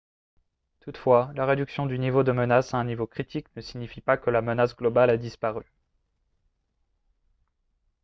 toutefois la réduction du niveau de menace à un niveau critique ne signifie pas que la menace globale a disparu »